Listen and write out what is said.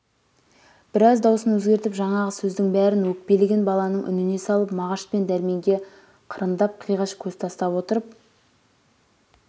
біраз даусын өзгертіп жаңағы сөздің бәрін өкпелеген баланың үніне салып мағаш пен дәрменге қырындап қиғаш көз тастап отырып